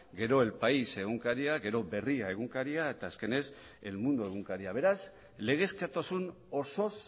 gero el país egunkaria gero berria egunkaria eta azkenez el mundo egunkaria beraz legezkotasun osoz